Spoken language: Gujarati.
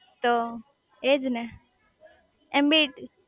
તો એજ ને એમ બી